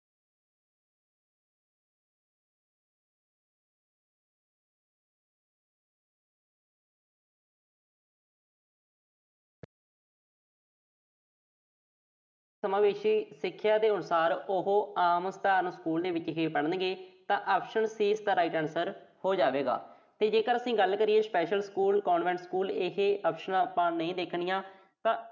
ਸਿੱਖਿਆ ਦੇ ਅਨੁਸਾਰ ਜੇ ਉਹ ਆਮ ਸਕੂਲ ਸਧਾਰਨ ਵਿੱਚ ਹੀ ਪੜ੍ਹਨਗੇ ਤਾਂ ਹੋ ਜਾਵੇਗਾ ਤੇ ਜੇਕਰ ਅਸੀਂ ਗੱਲ special school, convent school ਇਹ options ਆਪਾਂ ਨਹੀਂ ਦੇਖਣੀਆਂ। ਤਾਂ